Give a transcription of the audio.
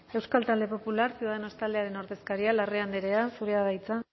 euskal talde popular ciudadanos taldearen ordezkaria larrea andrea zurea da hitza